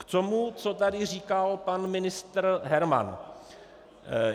K tomu, co tady říkal pan ministr Herman.